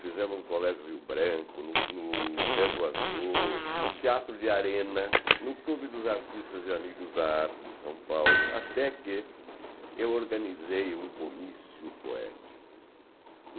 Fizemos no Colégio Rio Branco, no Deso Azul, no Teatro de Arena, no Clube dos Artistas e Amigos da Arte de São Paulo, até que eu organizei um comício poético.